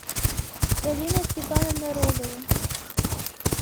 галина степановна рогова